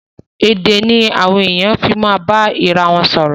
Èdè ni àwọn èèyàn fi ma bá ara wọn sọ̀rọ̀.